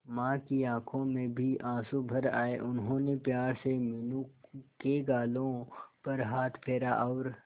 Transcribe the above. मां की आंखों में भी आंसू भर आए उन्होंने प्यार से मीनू के गालों पर हाथ फेरा और